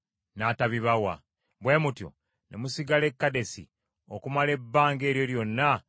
Bwe mutyo ne musigala e Kadesi, okumala ebbanga eryo lyonna lye mwabeera eyo.